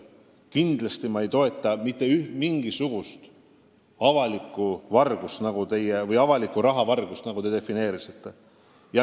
Ma kindlasti ei toeta mitte mingisugust avalikku vargust või avaliku raha vargust, nagu teie seda defineerisite.